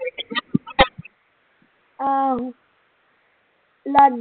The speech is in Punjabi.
ਆਹੋ ਲਾਡੀ ਤੇ